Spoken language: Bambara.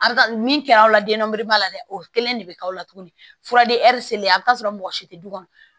A bɛ taa min kɛra aw la den nari b'a la dɛ o kelen de bɛ k'aw la tugun fura de a bɛ t'a sɔrɔ mɔgɔ si tɛ du kɔnɔ